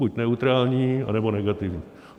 Buď neutrální, anebo negativní.